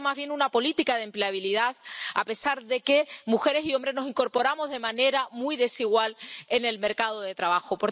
Ha habido más bien una política de empleabilidad, a pesar de que mujeres y hombres nos incorporamos de manera muy desigual al mercado de trabajo.